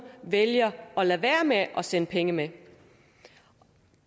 vælger at lade være med at sende penge med